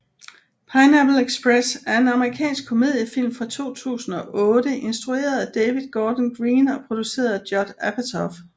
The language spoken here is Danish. Pineapple Express er en amerikansk komediefilm fra 2008 instrueret af David Gordon Green og produceret af Judd Apatow